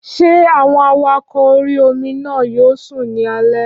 Ṣé àwọn awakọ̀ orí-omi náà yóò sùn ní alẹ́?